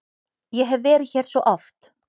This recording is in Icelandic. Ég hef verið hér svo oft.